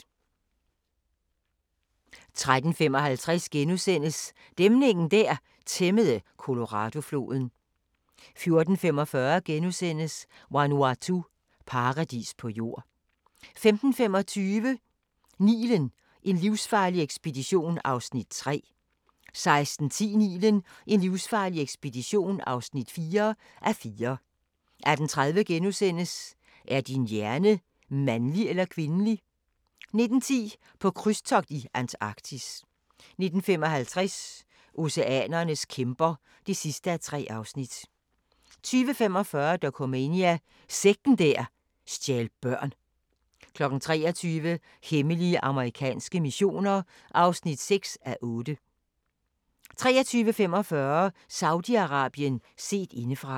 13:55: Dæmningen der tæmmede Coloradofloden * 14:45: Vanuatu – paradis på jord * 15:25: Nilen: en livsfarlig ekspedition (3:4) 16:10: Nilen: en livsfarlig ekspedition (4:4) 18:30: Er din hjerne mandlig eller kvindelig? * 19:10: På krydstogt i Antarktis 19:55: Oceanernes kæmper (3:3) 20:45: Dokumania: Sekten der stjal børn 23:00: Hemmelige amerikanske missioner (6:8) 23:45: Saudi-Arabien set indefra